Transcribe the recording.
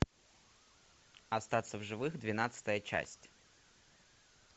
остаться в живых двенадцатая часть